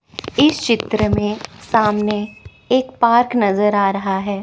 इस चित्र में सामने एक पार्क नज़र आ रहा है।